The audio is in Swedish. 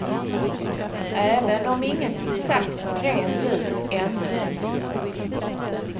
Även om ingenting sagts rent ut ännu.